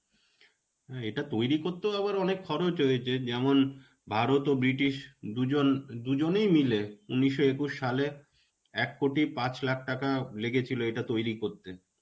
হ্যাঁ, এটা তৈরী করতেও আবার অনেক খরচ হয়েছে. যেমন ভারত ও ব্রিটিশ দুজন, দুজনই মিলে উনিশশো একুশ সালে এক কোটি পাঁচ লাখ টাকা লেগেছিলো এটা তৈরী করতে.